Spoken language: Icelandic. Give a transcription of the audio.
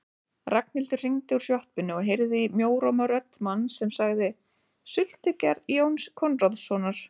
Ragnhildur hringdi úr sjoppunni og heyrði í mjóróma rödd manns sem sagði: Sultugerð Jóns Konráðssonar